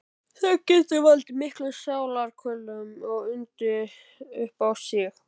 Það getur valdið miklum sálarkvölum og undið upp á sig.